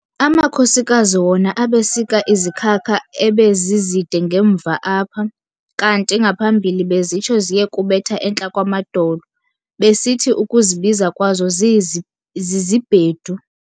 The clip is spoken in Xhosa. Amakhosikazi wona abesika izikhaka ebe zizide ngemva apha, kanti ngaphambili bezitsho ziye kubetha entla kwamadolo, besithi ukuzibiza kwazo zi"zibhedu".